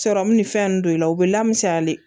Sɔrɔmu ni fɛn nunnu don i la u bɛ lamisaa de